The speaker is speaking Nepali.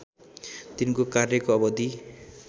तिनको कार्यको अवधि